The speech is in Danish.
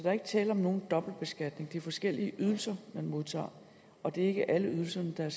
er ikke tale om nogen dobbeltbeskatning det er forskellige ydelser man modtager og det er ikke alle ydelserne der er